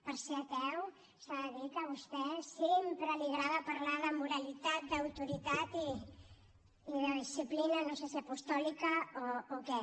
per ser ateu s’ha de dir que a vostè sempre li agrada parlar de moralitat d’autoritat i de disciplina no sé si apostòlica o què